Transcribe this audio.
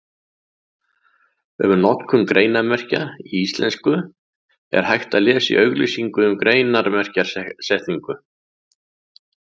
Um notkun greinarmerkja í íslensku er hægt að lesa í auglýsingu um greinarmerkjasetningu.